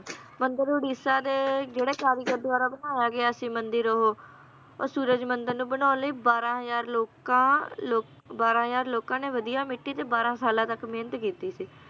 ਮੰਦਿਰ ਉੜੀਸਾ ਦੇ, ਜਿਹੜੇ ਕਾਰੀਗਰ ਦਵਾਰਾ ਬਣਾਇਆ ਗਿਆ ਸੀ ਮੰਦਿਰ ਉਹ, ਉਹ ਸੂਰਜ ਮੰਦਿਰ ਨੂੰ ਬਣਾਉਣ ਲਈ ਬਾਰ੍ਹਾਂ ਹਜ਼ਾਰ ਲੋਕਾਂ ਲੋਕ~ ਬਾਰ੍ਹਾਂ ਹਜ਼ਾਰ ਲੋਕਾਂ ਨੇ ਵਧੀਆ ਮਿੱਟੀ ਤੇ ਬਾਰ੍ਹਾਂ ਸਾਲਾਂ ਤਕ ਮੇਹਨਤ ਕੀਤੀ ਸੀ